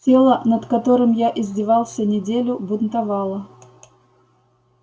тело над которым я издевался неделю бунтовало